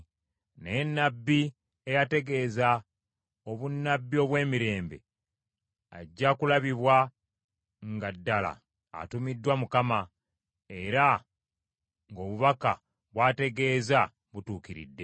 Naye nnabbi eyategeeza obunnabbi obw’emirembe ajja kulabibwa nga ddala atumiddwa Mukama era ng’obubaka bw’ategeeza butuukiridde.”